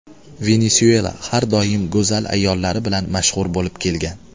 Venesuela har doim go‘zal ayollari bilan mashhur bo‘lib kelgan.